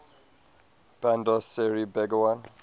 bandar seri begawan